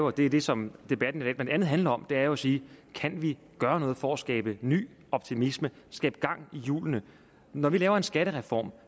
og det er det som debatten i dag blandt andet handler om er jo at sige kan vi gøre noget for at skabe ny optimisme skabe gang i hjulene når vi laver en skattereform